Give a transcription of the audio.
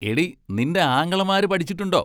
എടീ നിന്റെ ആങ്ങളമാര് പടിച്ചിട്ടുണ്ടോ?